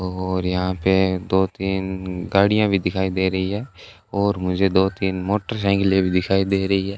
और यहां पे दो तीन गाड़ियां भी दिखाई दे रही है और मुझे दो तीन मोटरसाइकिल भी दिखाई दे रही है।